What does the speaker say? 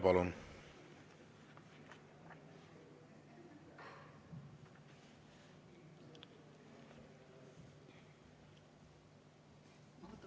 Palun!